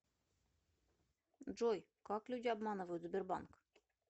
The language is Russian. джой как люди обманывают сбербанк